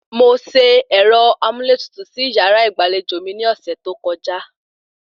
Mo se ẹ̀rọ amúlétutù sí yàrá ìgbàlejò mi ní ọ̀sẹ̀ tó kọjá